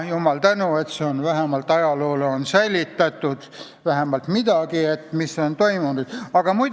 Jumalale tänu, et nüüd on ajaloole säilitatud vähemalt midagi sellest, mis on komisjonides toimunud.